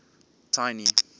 tiny